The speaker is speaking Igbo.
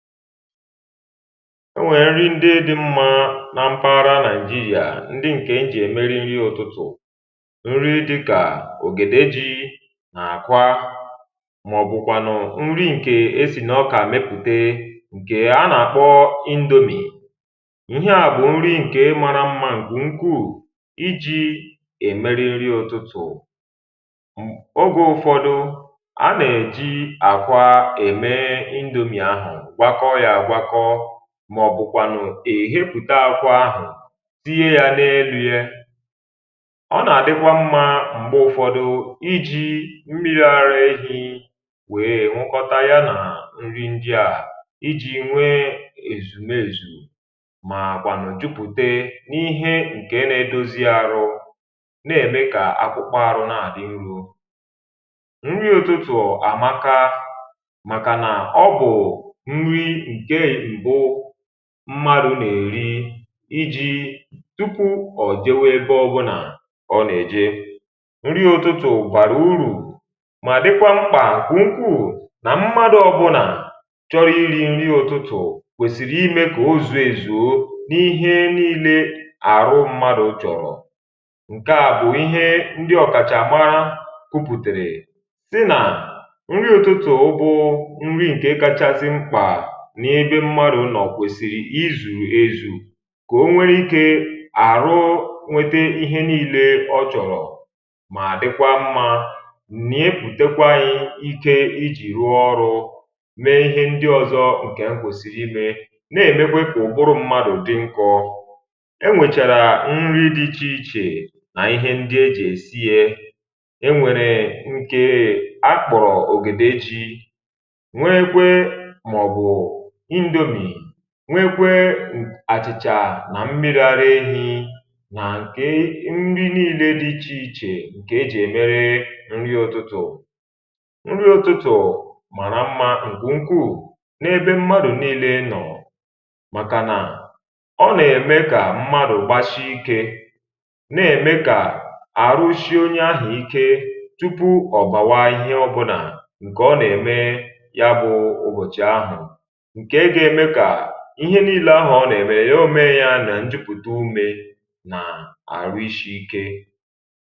enwèrè nri ndị dị mmȧ na mpaghara nàijirià um ndị ǹkè m jì ème nri ụ̀tụtụ̀, nri dịkà ògède, ji, nà-àkwa màọ̀bụ̀kwànụ̀ nri ǹkè e sì nà ọkà mepùte, ǹkè a nà-àkpọ indomie. ihe à bụ̀ nri ǹkè mara mmȧ, ǹkwù nkwuù iji̇ èmeri nri ụtụtụ̀. ogė ụ̀fọdụ a nà-èji àkwa ème ndùmi̇ ahụ̀, mà ọ̀bụ̀ kwànụ̀ èhepụ̀ta akwa ahụ̀zie ya n’elu ya um ọ nà-àdịkwa mmȧ m̀gbè ụ̀fọdụ iji̇ mmiri̇ ara ehi̇ wèe nwụkọta ya nà nri nje à, ijì nwee èzùm ezù, màà kwànụ̀ jupụ̀te n’ihe ǹkè na-edozi arụ na-ème kà akwụkpọ arụ na-àdị nro. nri ụtụtụ̀ àmaka màkà nà ọbụ̀ mmadụ̀ nà-èri iji̇ tupu ọ̀ jewè ebe ọbụnà ọ nà-èje, nri ụtụtụ̀ gwàrà urù um mà dịkwà mkpà kwà nkwuù. nà mmadụ̇ ọbụnà chọrọ̇ nri ụtụtụ̀ kwèsìrì imė kà ozù èzùo n’ihe nile àrụ mmadụ̀ chọ̀rọ̀. ǹke à bụ̀ ihe ndị ọ̀kàchàma kupùtèrè tị nà nri ụtụtụ̀, ụbụ nri ǹkè kachasị mkpà nye ebe mmadụ̀ nọ̀. kwèsìrì i zùrù ezù kà o nwere ikė àrụ, nwete ihe nile ọ chọ̀rọ̀, mà dịkwa mmȧ nnie, pùtekwa ike ijì rụọ ọrụ̇, mee ihe ndị ọzọ. ǹkè m kwèsìrì imė nè-èmekwepù ụ̀bụrụ mmadụ̀ dị nkọ. e nwèchàrà nri dị ichè ichè nà ihe ndị e jì èsi ye, e nwèrè nkere akpọ̀rọ̀ ògèda eji̇ nwekwe, màọ̀bụ̀ ndomì, nwekwe àchị̀chà nà mmerụ ara ehi̇. nà ǹkè nri niile dị̇ ichè ichè ǹkè ejì èmere nri ụtụtụ̀, nri ụtụtụ̀ màna mmȧ ǹkè ukwu̇ n’ebe mmadụ̀ niile nọ̀ um màtà nà ọ nà-ème kà mmadụ̀ gbashi ike, nà-ème kà àrụshị onye ahụ̀ ike tupu ọ̀bàwa ihe ọbụnà ǹkè ọ nà-ème, ya bụ̇ ụbọ̀chị̀ ahụ̀, ihe niile ahụ ọ nà-ẹmẹ, ya mee ya nà njupụta ume nà-àrụ ishi ike.